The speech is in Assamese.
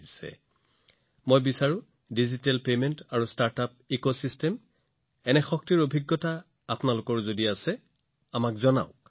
মই বিচাৰিম যে যদি আপোনাৰো ডিজিটেল পৰিশোধ আৰু ষ্টাৰ্টআপ পৰিস্থিতিতন্ত্ৰৰ এই শক্তিৰ সৈতে সম্পৰ্কিত অভিজ্ঞতা আছে তেন্তে সেইবোৰ ভাগ বতৰা কৰক